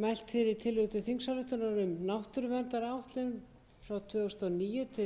mælt fyrir tillögu til þingsályktunar um náttúruverndaráætlun tvö þúsund og níu til tvö þúsund